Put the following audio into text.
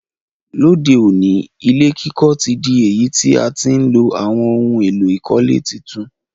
Lóde òní, ilé kíkọ́ ti dí èyí ti a ti n lo àwon oun èló ìkọ́lé tuntun